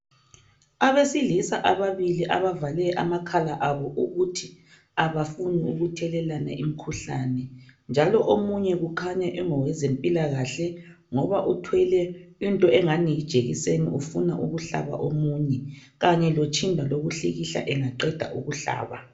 Abesilisa ababili abavale amakhala abo ukuthi abafuni ukuthelelana umkhuhlane. Njalo omunye kukhanya engowezempilakahle ngoba uthwele into engani jekiseni ufuna ukuhlaba omunye. Kanye lotshinda lokuhlikihla Engaqeda ukuhlaba .